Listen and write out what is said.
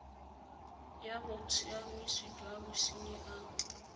ya bosiamisi jwa bosenyi a